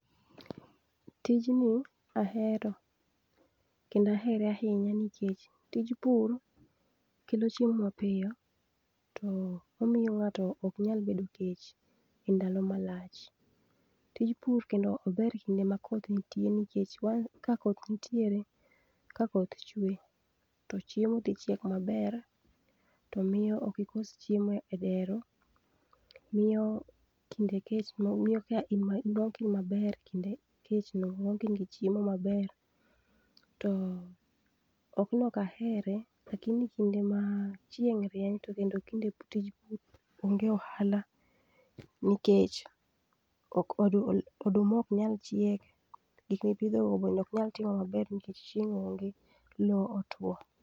tijni ahero kendo ahere ahinya nikech tij pur kelo chiemo mapiyo to omiyo ngato ok nyal bedo kech e ndalo malach tij pur kendo ober kinde ma koth nitie nikech ka koth nitiere ka koth chue to chiemo dhichiek maber to miyo okikos chiemo e dero miyo kinde kech no nwango ka in maber kinde kech no nwango ka in gi chiemo maber. to ok ni ok ahere to lakini kinde ma chieng rieny to kendo tij pur onge ohala nikech oduma ok nyal chiek gikmipidho be oknyal timo maber nikech chieny onge loo otuo